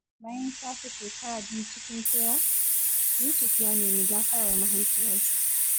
Bayan shafe shekara biyu cikin kewa, Yusuf ya nemi gafarar mahaifiyarsa.